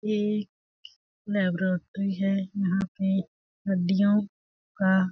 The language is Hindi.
ये एक लिबरोरटी है यहाँ पे हड्डियों का--